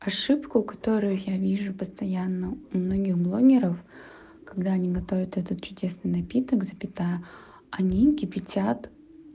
ошибку которую я вижу постоянно у многих блогеров когда они готовят этот чудесный напиток запятая они кипятят